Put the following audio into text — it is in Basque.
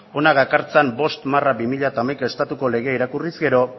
hona gakartzan bost barra bi mila hamaika estatuko legea irakurriz gero